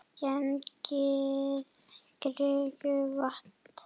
Gengið kringum vatnið.